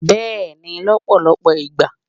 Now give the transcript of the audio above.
beeni lọpọlọpọ igba